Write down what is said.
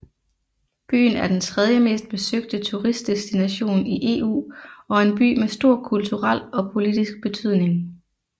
Byen er den tredjemest besøgte turistdestination i EU og en by med stor kulturel og politisk betydning